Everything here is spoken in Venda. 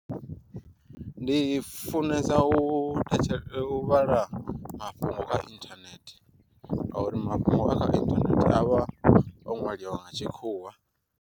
Ndi funesa u thetshe u vhala mafhungo kha inthanethe, nga uri mafhungo a kha inthanethe avha o ṅwaliwa nga tshikhuwa.